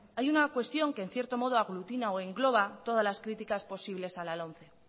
hay una cuestión que en cierto modo aglutina o engloba todas las críticas posibles a la lomce